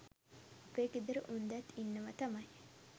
අපේ ගෙදර උන්දැත් ඉන්නව තමයි